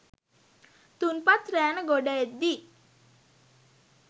තුන්පත් රෑන ගොඩ එද්දී